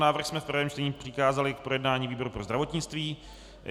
Návrh jsme v prvém čtení přikázali k projednání výboru pro zdravotnictví.